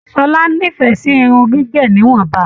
Ṣọlá n'ifẹ sí irun gígé níwọ̀nba.